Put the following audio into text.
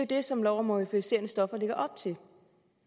det som lov om euforiserende stoffer lægger op til